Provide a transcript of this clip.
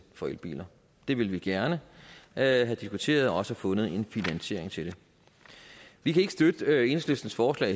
for elbiler det ville vi gerne have diskuteret og også have fundet en finansiering til det vi kan ikke støtte enhedslistens forslag